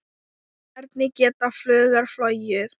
Hvernig geta fuglar flogið?